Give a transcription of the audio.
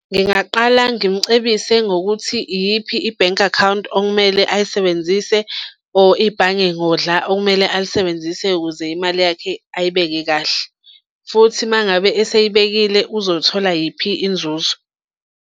Ngingaqala ngimcebise ngokuthi iyiphi i-bank account okumele ayisebenzise or ibhange ngodla okumele alisebenzise ukuze imali yakhe ayibeke kahle. Futhi uma ngabe esiyibekile uzothola yiphi inzuzo.